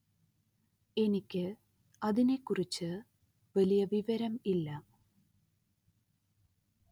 എനിക്ക് അതിനെ കുറിച്ച് വലിയ വിവരം ഇല്ല